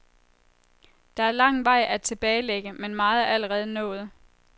Der er lang vej at tilbagelægge, men meget er allerede nået.